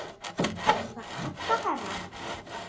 Varstu að kalla, herra?